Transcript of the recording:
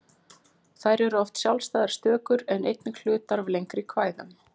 Þær eru oft sjálfstæðar stökur en einnig hlutar af lengri kvæðum.